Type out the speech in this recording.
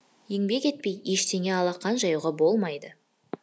еңбек етпей ештеңе алақан жаюға болмайды